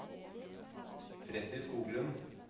Freddy Skoglund